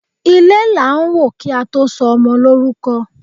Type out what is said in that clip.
Ilé la n wò kí á tó sọ ọmọ lórúkọ